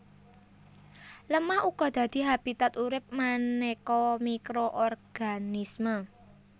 Lemah uga dadi habitat urip manéka mikroorganisme